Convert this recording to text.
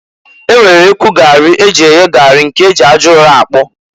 E nwere ekwu gari e ji eye gari, nke e ji aja ụrọ akpụ.